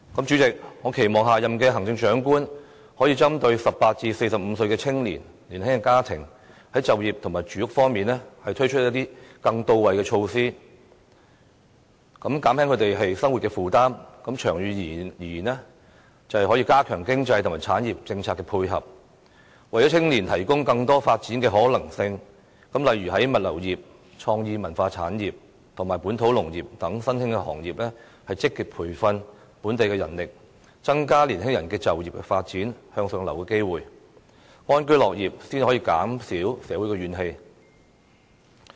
主席，我期望下任行政長官可以針對18至45歲的青年及年輕家庭，在就業及住屋方面推出一些更到位的措施，減輕他們的生活負擔，長遠而言便可加強經濟及產業政策的配合，為青年提供更多發展的可能性，例如為物流業、創意文化產業及本土農業等新興行業，積極培訓本地人力，增加年輕人的就業發展、向上流動的機會，市民安居樂業才能減少社會的怨氣。